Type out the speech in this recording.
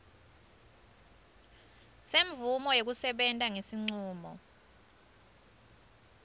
semvumo yekusebenta ngesincumo